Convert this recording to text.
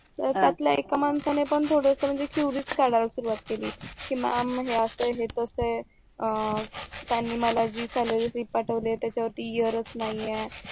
तर त्यातल्या एक माणसाने पण म्हणजे curious काढायला सुरवात केली कि मॅम हे असं आहे हे तस आहे अं त्यांनी मला जी सॅलरी स्लिप पाठवली होती त्याच्या वरती एअर नाहीये